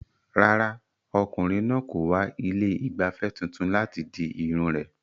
Rárá, ọkùnrin náà kò wá ilé ìgbafẹ́ tuntun láti di irun rẹ̀.